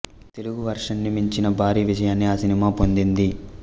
Telugu version ని మించిన భారీ విజయాన్ని ఆ సినిమా పొందింది